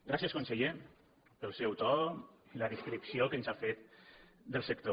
gràcies conseller pel seu to i la descripció que ens ha fet del sector